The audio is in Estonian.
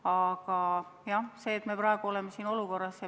Aga jah, praegu me oleme keerulises olukorras.